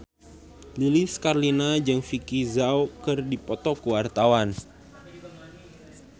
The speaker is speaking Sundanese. Lilis Karlina jeung Vicki Zao keur dipoto ku wartawan